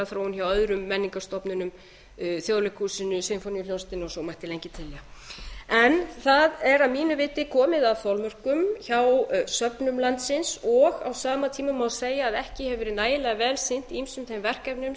þróun hjá öðrum menningarstofnunum þjóðleikhúsinu sinfóníuhljómsveitinni og svo mætti lengi telja það er að mínu viti komið að þolmörkum hjá söfnum landsins og á sama tíma má segja að ekki hefur verið nægilega vel sinnt ýmsum þeim verkefnum sem